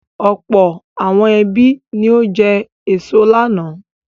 Ọ̀pọ̀ àwọn ẹbí ni ó jẹ èso lánàá.